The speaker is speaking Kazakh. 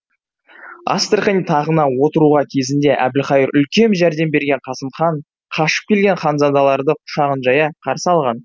астрахань тағына отыруға кезінде әбілқайыр үлкен жәрдем берген қасым хан қашып келген ханзадаларды құшағын жая қарсы алған